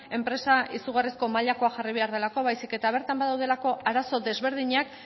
enpresa izugarrizko mailakoa jarri behar delako baizik eta bertan badaudelako arazo desberdinak